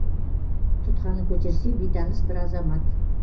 тұтқаны көтерсе бейтаныс бір азамат